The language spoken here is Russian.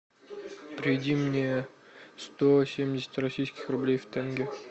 переведи мне сто семьдесят российских рублей в тенге